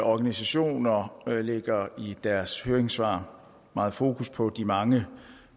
organisationer lægger i deres høringssvar meget fokus på de mange